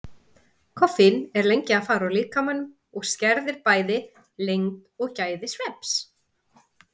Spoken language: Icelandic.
Koffín er lengi að fara úr líkamanum og skerðir bæði lengd og gæði svefns.